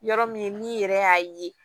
Yɔrɔ min n'i yɛrɛ y'a ye